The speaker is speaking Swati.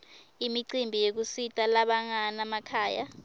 imicimbi yekusita labanganamakhaya